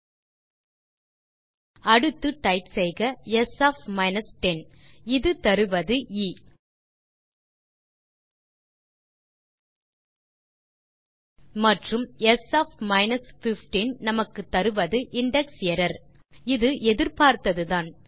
ஆகவே அடுத்து டைப் செய்க ஸ் ஒஃப் 10 இது தருவது எ மற்றும் ஸ் ஒஃப் 15 நமக்குத் தருவது இண்டெக்ஸரர் இது எதிர்பார்த்ததுதான்